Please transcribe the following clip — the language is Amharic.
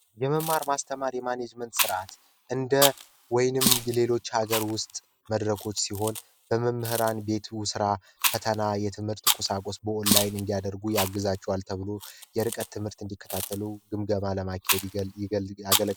የመማር ማስተማሪ የማኔጅመንት ስርዓት እንደ ወይንም የሌሎች ሀገር ውስጥ መድረኮች ሲሆን ለመምህራን ቤት ውስጥ ስራ ቁሳቁስ በኦንላይን እንዲሆን ያደርግላቸዋል ተብሎ የርቀት ትምህርት እንዲከታተሉ ግምገማ ያደርጋል።